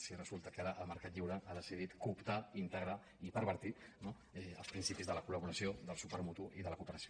si resulta que ara el mercat lliure ha decidit cooptar in·tegrar i pervertir no els principis de la coldel suport mutu i de la cooperació